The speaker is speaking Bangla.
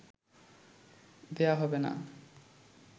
দেয়া হবে না